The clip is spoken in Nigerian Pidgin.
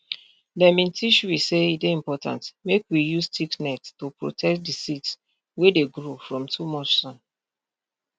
dem bin teach we say e dey important make we use thick net to protect di seeds wey dey grow from too much sun